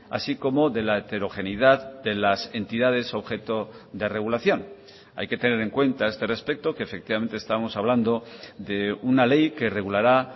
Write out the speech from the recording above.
así como de la heterogeneidad de las entidades objeto de regulación hay que tener en cuenta a este respecto que efectivamente estamos hablando de una ley que regulará